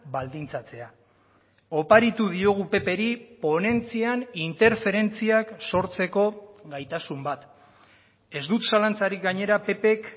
baldintzatzea oparitu diogu ppri ponentzian interferentziak sortzeko gaitasun bat ez dut zalantzarik gainera ppk